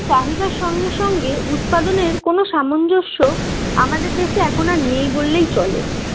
চাহিদার সঙ্গে সঙ্গে উৎপাদনের কোনও সামঞ্জস্য আমাদের দেশে এখন আর নেই বললেই চলে